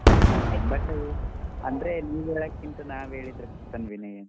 ಹ್ಮ್ but ಅಂದ್ರೆ ನೀವ್ ಹೇಳಕಿಂತ ನಾವ್ ಹೇಳಿದ್ರೆ ಬರ್ತಾನ್ ವಿನಯ್.